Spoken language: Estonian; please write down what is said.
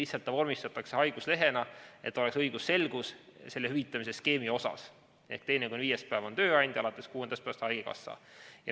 See vormistatakse haiguslehena, et oleks õigusselgus hüvitamise skeemi osas ehk teine kuni viies päev on tööandja ja alates kuuendast päevast haigekassa.